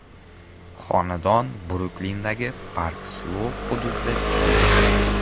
Xonadon Bruklindagi Park-Sloup hududida joylashgan.